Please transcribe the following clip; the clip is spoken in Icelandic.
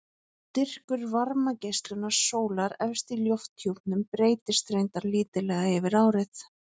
Styrkur varmageislunar sólar efst í lofthjúpnum breytist reyndar lítillega yfir árið.